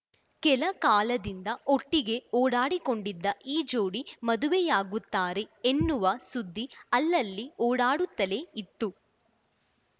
ಕೆಲ ಕಾಲದಿಂದ ಒಟ್ಟಿಗೆ ಓಡಾಡಿಕೊಂಡಿದ್ದ ಈ ಜೋಡಿ ಮದುವೆಯಾಗುತ್ತಾರೆ ಎನ್ನುವ ಸುದ್ದಿ ಅಲ್ಲಲ್ಲಿ ಓಡಾಡುತ್ತಲೇ ಇತ್ತು